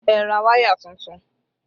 Ẹ ra wáyà tuntun!